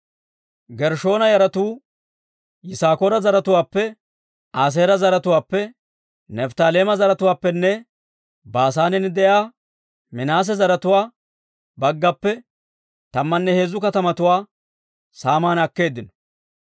Gershshoona yaratuu Yisaakoora zaratuwaappe, Aaseera zaratuwaappe, Nifttaaleema zaratuwaappenne Baasaanen de'iyaa Minaase zaratuwaa baggappe tammanne heezzu katamatuwaa saaman akkeeddino.